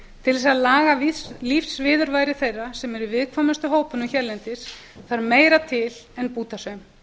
til að laga lífsviðurværi þeirra sem eru í viðkvæmustu hópunum hérlendis þarf meira til en bútasaum